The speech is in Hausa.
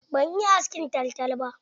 Ban iya askin taltal ba.